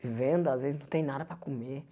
Venda às vezes, não tem nada para comer.